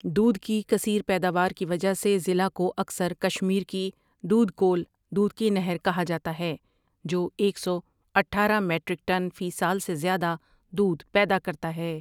دودھ کی کثیر پیداور کی وجہ سے ضلع کو اکثر کشمیر کی دۄدٕ کۄل دودھ کی نہر کہا جاتا ہے جو ایک سو اٹھارہ میٹرک ٹن فی سال سے دیادہ دودھ پیدا کرتا ہے ۔